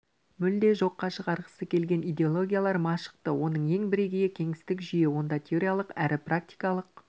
мүлде жоққа шығарғысы келген идеологиялар дашықты оның ең бірегейі кеңестік жүйе онда теориялық әрі практикалық